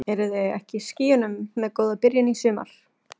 Eruð þið ekki í skýjunum með góða byrjun í sumar?